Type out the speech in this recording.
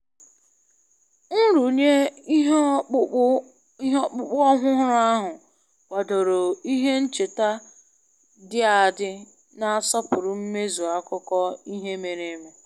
Nrụnye ihe ọkpụkpụ ọhụrụ ahụ kwadoro ihe ncheta dị adị na-asọpụrụ mmezu akụkọ ihe mere eme